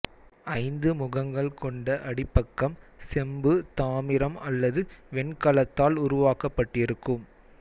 ஐந்து முகங்கள் கொண்ட அடிப்பக்கம் செம்பு தாமிரம் அல்லது வெண்கலத்தால் உருவாக்கப்பட்டிருக்கும்